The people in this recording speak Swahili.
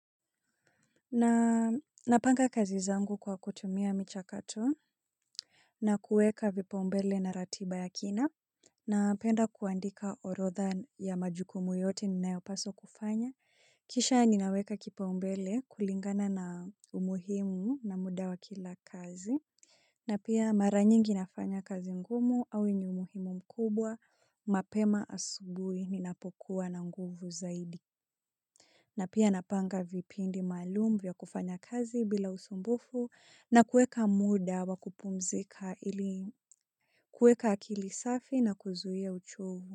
Napanga kazi zangu kwa kutumia michakato na kueka vipaumbele na ratiba ya kina napenda kuandika orotha ya majukumu yote ninayopaswa kufanya kisha ninaweka kipaumbele kulingana na umuhimu na muda wa kila kazi na pia mara nyingi nafanya kazi ngumu au inyumuhimu mkubwa mapema asubui ninapokuwa na nguvu zaidi. Na pia napanga vipindi maalumu vya kufanya kazi bila usumbufu na kueka muda wakupumzika ili kueka akilisafi na kuzuia uchovu.